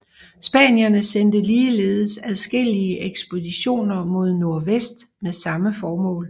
Spanierne sendte ligeledes adskillige ekspeditioner mod nordvest med samme formål